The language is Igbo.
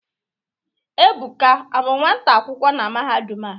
Ebuka abụ nwata akwụkwọ na mahadum a?